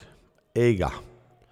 Ejga!